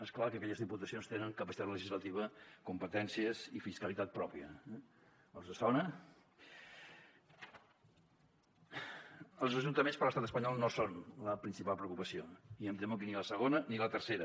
és clar que aquelles diputacions tenen capacitat legislativa competències i fiscalitat pròpia eh els sona els ajuntaments per a l’estat espanyol no són la principal preocupació i em temo que ni la segona ni la tercera